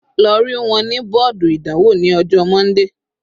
Lọ rí wọn ní bọ́ọ̀dù ìdánwò ní ọjọ́ Monday.